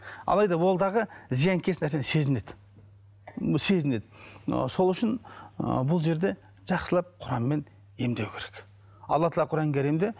алайда ол дағы зиянкес нәрсені сезінеді сезінеді ы сол үшін ы бұл жерде жақсылап құранмен емдеу керек алла тағала құран кәрімде